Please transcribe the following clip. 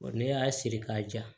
Ne y'a siri k'a ja